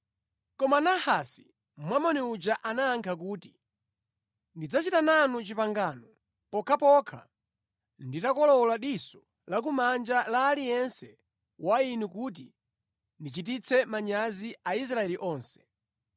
Koma Nahasi Mwamoni uja anayankha kuti, “Ndidzachita nanu pangano pokhapokha nditakolowola diso lakumanja la aliyense wa inu kuti ndichititse manyazi Aisraeli onse.”